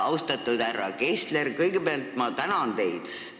Austatud härra Kessler, kõigepealt ma tänan teid!